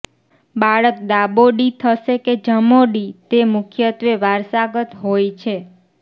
બાળક ડાબોડી થશે કે જમોડી તે મુખ્યત્ત્વે વારસાગત હોય છે